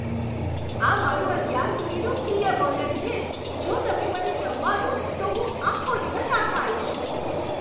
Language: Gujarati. આ મારું અત્યાર સુધીનું પ્રિય ભોજન છે, જો તમે મને જમવા દો, તો હું આખો દિવસ આ ખાઈશ.